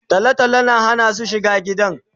Talo talo ya hana su shiga gidan